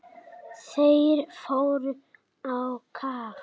Þeir fóru á kaf.